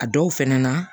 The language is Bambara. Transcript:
A dɔw fɛnɛ na